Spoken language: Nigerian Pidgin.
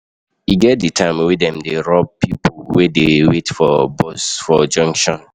E get di time wey dem dey rob pipo wey dey wait bus for junction.